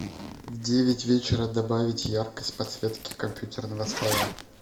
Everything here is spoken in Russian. в девять вечера добавить яркость подсветки компьютерного стола